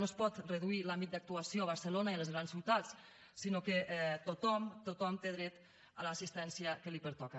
no es pot reduir l’àmbit d’actuació a barcelona i a les grans ciutats sinó que tothom tothom té dret a l’assistència que li pertoca